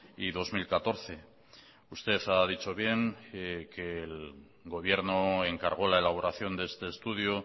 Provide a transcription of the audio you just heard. y dos mil catorce usted ha dicho bien que el gobierno encargó la elaboración de este estudio